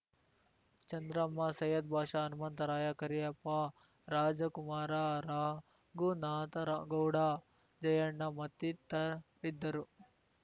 ಚಂದ್ರಮ್ಮ ಸೈಯದ್‌ ಬಾಷಾ ಹನುಮಂತರಾಯ ಕರಿಯಪ್ಪ ರಾಜಕುಮಾರ ರರ ರಘುನಾಥರಗೌಡ ಜಯಣ್ಣ ಮತ್ತಿತರಿದ್ದರು